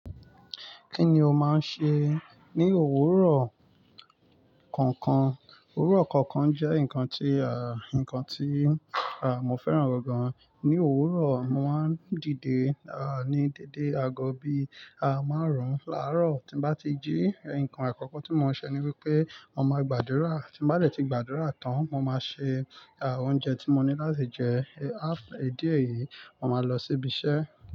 Kí ni o máa ń ṣe ní òwúrọ̀ kọ̀ọ̀kan? Òwúrọ̀ kọ̀ọ̀kan jẹ́ nǹkan tí, nǹkan tí, mo fẹ́ràn gan-an. Ní òwúrọ̀, mo máa ń dìde, ní dẹ̀dẹ̀ àgọ́ bí, máa rùn. Lárọ̀, tí bá ti jí, nǹkan àkọ́kọ́ tí mo máa ṣe ni wípé mo máa gbàdúrà. Tí mo bá dẹ̀ ti gbàdúrà tán, mo máa ṣe, oúnjẹ tí mo ní láti jẹ. Ní ìdí èyí, mo máa lọ síbi iṣẹ́.